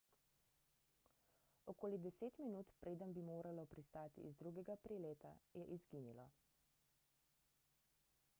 okoli deset minut preden bi moralo pristati iz drugega prileta je izginilo